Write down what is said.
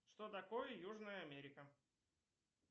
что такое южная америка